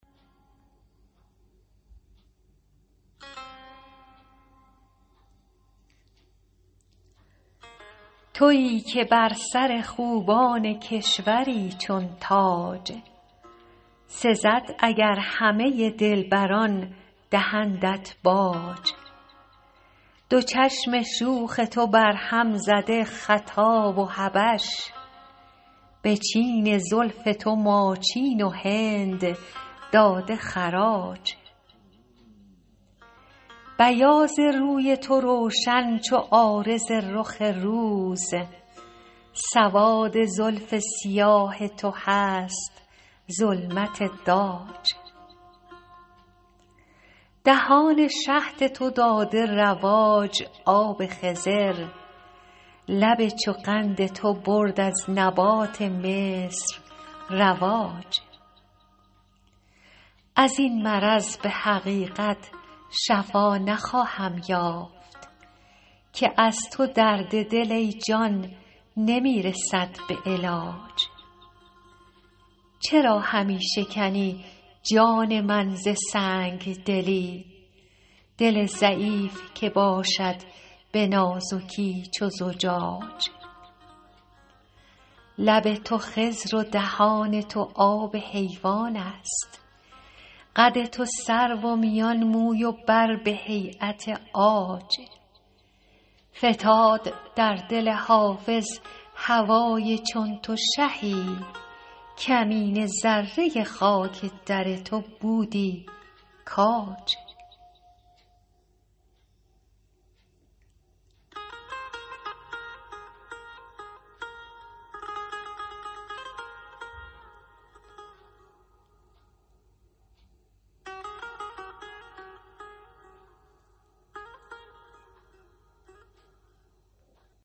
تویی که بر سر خوبان کشوری چون تاج سزد اگر همه دلبران دهندت باج دو چشم شوخ تو برهم زده خطا و حبش به چین زلف تو ماچین و هند داده خراج بیاض روی تو روشن چو عارض رخ روز سواد زلف سیاه تو هست ظلمت داج دهان شهد تو داده رواج آب خضر لب چو قند تو برد از نبات مصر رواج از این مرض به حقیقت شفا نخواهم یافت که از تو درد دل ای جان نمی رسد به علاج چرا همی شکنی جان من ز سنگ دلی دل ضعیف که باشد به نازکی چو زجاج لب تو خضر و دهان تو آب حیوان است قد تو سرو و میان موی و بر به هییت عاج فتاد در دل حافظ هوای چون تو شهی کمینه ذره خاک در تو بودی کاج